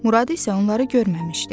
Murad isə onları görməmişdi.